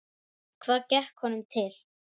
Hvað gekk honum til?